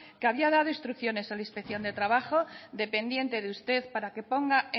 que había dado instrucciones a la inspección de trabajo dependiente de usted para que ponga